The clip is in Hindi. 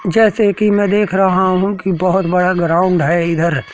जैसे कि मैं देख रहा हूं कि बहोत बड़ा ग्राउंड है इधर--